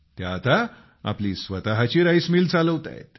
त्या आता आपली स्वतःची राईस मिल चालवत आहेत